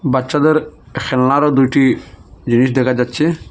বাচ্চাদের খেলনারও দুইটি জিনিস দেখা যাচ্ছে।